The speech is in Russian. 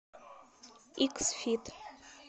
икс фит